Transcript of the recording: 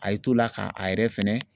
A y'i t'o la ka a yɛrɛ fɛnɛ